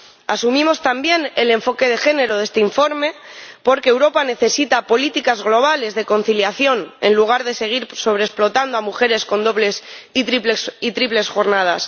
Asumo también el enfoque de género de este informe porque Europa necesita políticas globales de conciliación, en lugar de seguir sobreexplotando a mujeres con dobles y triples jornadas.